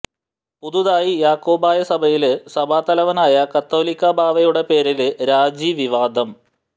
പുതുതായി യാക്കോബായ സഭയില് സഭാ തലവനായ കാതോലിക്കാ ബാവയുടെ പേരില് രാജിവിവാദം